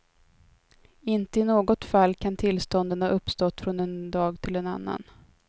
Inte i något fall kan tillstånden ha uppstått från en dag till en annan.